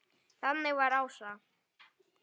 En þannig var Ása.